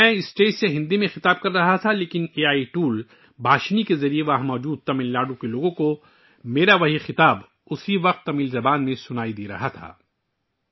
میں اسٹیج سے ہندی میں خطاب کر رہا تھا، لیکن اے آئی ٹول بھاشنی کے ذریعے وہاں موجود تمل ناڈو کے لوگ بیک وقت تمل زبان میں میرا خطاب سن رہے تھے